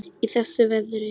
Í þessu veðri?